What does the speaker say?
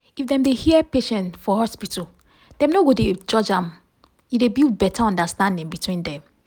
if dem dey hear patient for hospital dem no con dey judge am e dey build beta understanding between dem.